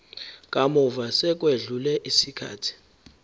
kamuva sekwedlule isikhathi